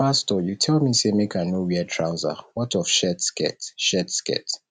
pastor you tell me say make i no wear trouser what of shirt skirt shirt skirt